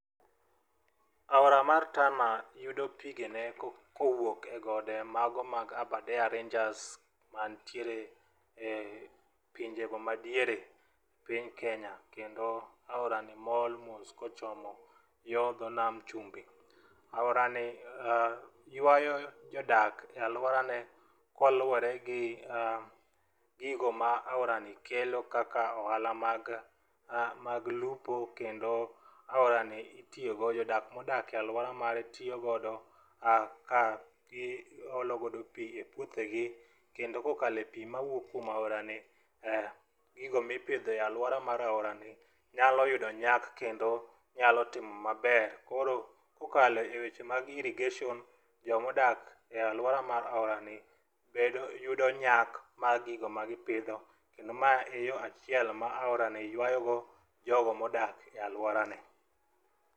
Aora mar Tana yudo pigene kowuok e gode mago mag Abardare Ranges mantiere e pinjego madiere piny kenya, kendo aorani mol mos kochomo yo dho nam chumbi. Aorani ywayo jodak e alworane kaluwore gi gigo ma aorani kelo kaka ohala mag lupo, kendo aorani itiyogo, jodak modak e alwora mage tiyo ka gi olo godo pi e puothegi kendo kokalo kuom pi mawuok e aorani, gigo ma ipidho e alwora mar aorani, nyalo yudo nyak kendo nyalo timo maber. Koro kokalo e weche mag irrigation jomodak e alwora mar aorani, yudo nyak mar gigo ma gipidho kendo ma e yo achiel ma orani ywayogo jogo ma odak e alworani.